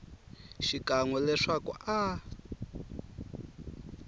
xikan we leswaku a a